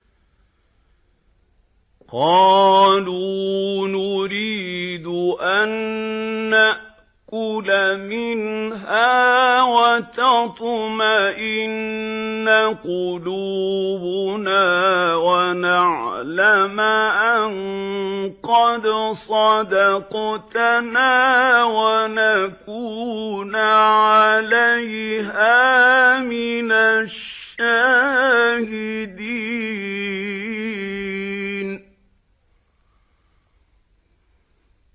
قَالُوا نُرِيدُ أَن نَّأْكُلَ مِنْهَا وَتَطْمَئِنَّ قُلُوبُنَا وَنَعْلَمَ أَن قَدْ صَدَقْتَنَا وَنَكُونَ عَلَيْهَا مِنَ الشَّاهِدِينَ